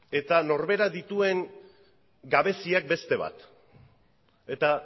eta norberak dituen gabeziak beste bat eta